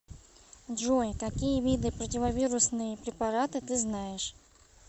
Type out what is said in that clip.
джой какие виды противовирусные препараты ты знаешь